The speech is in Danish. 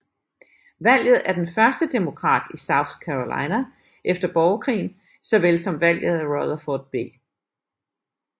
Valget af den første Demokrat i South Carolina efter borgerkrigen så vel som valget af Rutherford B